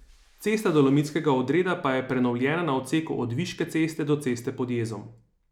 Cesta Dolomitskega odreda pa je prenovljena na odseku od Viške ceste do ceste Pod jezom.